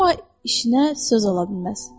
Amma işinə söz ola bilməz.